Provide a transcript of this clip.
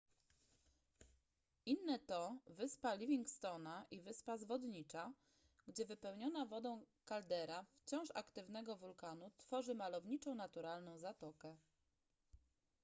inne to wyspa livingstone'a i wyspa zwodnicza gdzie wypełniona wodą kaldera wciąż aktywnego wulkanu tworzy malowniczą naturalną zatokę